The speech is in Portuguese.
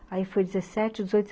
Ai foi dezessete, dezoito